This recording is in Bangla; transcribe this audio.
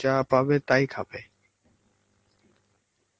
যা পাবে তাই খাবে.